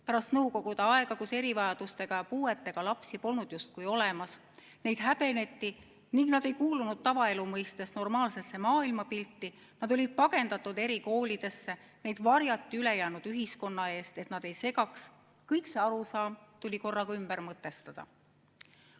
Pärast nõukogude aega, kui erivajadustega ja puuetega lapsi polnud justkui olemas – neid häbeneti, nad ei kuulunud tavaelu mõistes normaalsesse maailmapilti, nad olid pagendatud erikoolidesse ja neid varjati ülejäänud ühiskonna eest, et nad ei segaks –, tuli korraga kogu selline arusaam ümber mõtestada.